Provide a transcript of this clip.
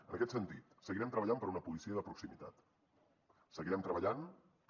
en aquest sentit seguirem treballant per una policia de proximitat seguirem treballant per